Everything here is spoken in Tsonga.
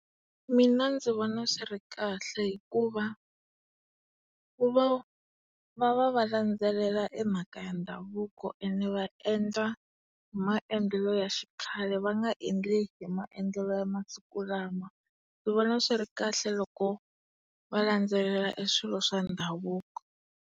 Mina ndzi vona swi ri kahle hikuva ku va va va va landzelela e mhaka ya ndhavuko ene va endla hi maendlelo ya xikhale va nga endli hi maendlelo ya masiku lawa.